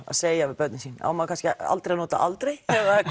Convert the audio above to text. að segja við börnin sín á maður kannski aldrei að nota aldrei